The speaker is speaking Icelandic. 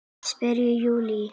Spyr Júlía.